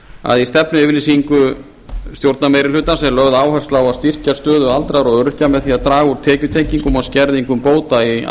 að í stefnuyfirlýsingu stjórnarmeirihlutans er lögð áhersla á að styrkja stöðu aldraðra og öryrkja með því að draga úr tekjutengingum og skerðingum bóta